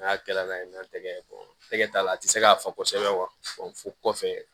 N'a kɛla n'a ye n'an tɛgɛ tɛgɛ t'a la a tɛ se k'a fɔ kosɛbɛ fo kɔfɛ